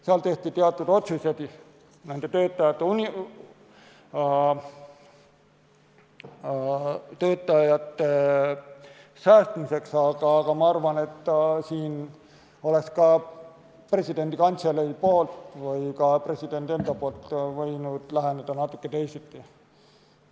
Seal tehti teatud otsused töötajate säästmiseks, aga ma arvan, et siin oleks ka presidendi kantselei või presidendi enda poolt võinud läheneda natuke teisiti.